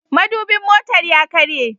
Madubin motar ya karye.